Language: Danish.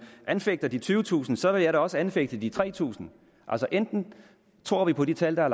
anfægter de tyvetusind så vil jeg da også anfægte de tre tusind altså enten tror vi på de tal der